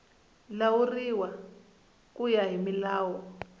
lawuriwa ku ya hi milawu